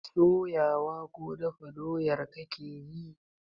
Soya wa ko dafa doyar kake yi?